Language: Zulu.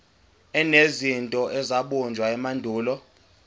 enezinto ezabunjwa emandulo